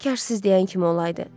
Kaş siz deyən kimi olaydı.